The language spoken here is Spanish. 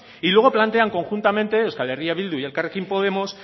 y luego plantean conjuntamente euskal herria bildu y elkarrekin podemos